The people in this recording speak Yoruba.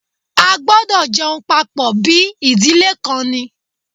A gbọdọ̀ jẹun papọ̀ bí ìdílé kan ni!